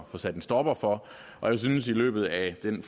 få sat en stopper for og jeg synes i løbet af den